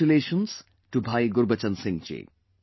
Congratulations to bhaiGurbachan Singh ji